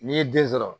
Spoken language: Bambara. N'i ye den sɔrɔ